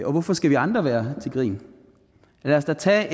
og hvorfor skal vi andre være til grin lad os da tage